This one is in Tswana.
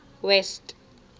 west